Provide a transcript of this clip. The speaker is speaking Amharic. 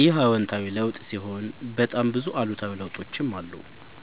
ይህ አዎታዊ ለውጥ ሲሆን በጣም ብዙ አሉታዊ ለውጦችም አሉ።